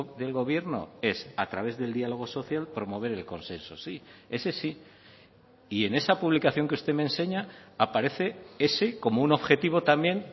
del gobierno es a través del diálogo social promover el consenso sí ese sí y en esa publicación que usted me enseña aparece ese como un objetivo también